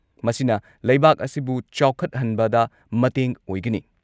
ꯃꯁꯤꯅ ꯂꯩꯕꯥꯛ ꯑꯁꯤꯕꯨ ꯆꯥꯎꯈꯠꯍꯟꯕꯗ ꯃꯇꯦꯡ ꯑꯣꯏꯒꯅꯤ ꯫